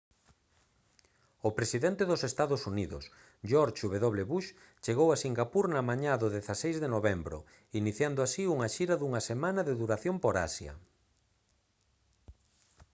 o presidente dos ee uu george w bush chegou a singapur na mañá do 16 de novembro iniciando así unha xira dunha semana de duración por asia